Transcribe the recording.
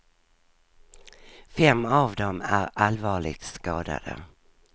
Fem av dem är allvarligt skadade.